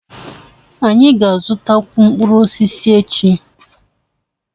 Anyị ga-azụtakwu mkpụrụ osisi echi.